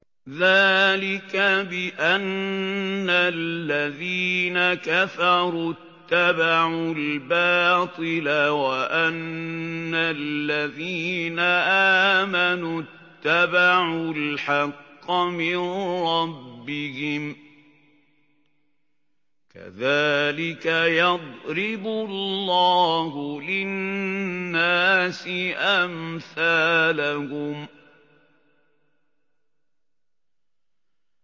ذَٰلِكَ بِأَنَّ الَّذِينَ كَفَرُوا اتَّبَعُوا الْبَاطِلَ وَأَنَّ الَّذِينَ آمَنُوا اتَّبَعُوا الْحَقَّ مِن رَّبِّهِمْ ۚ كَذَٰلِكَ يَضْرِبُ اللَّهُ لِلنَّاسِ أَمْثَالَهُمْ